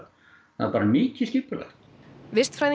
það er bara mikið skipulagt